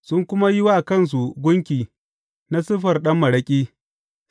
sun kuma yi wa kansu gunki na siffar ɗan maraƙi.